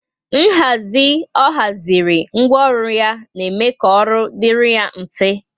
Nhazi ọ haziri ńgwọ ọrụ ya na eme ka ọrụ dịrị ya mfe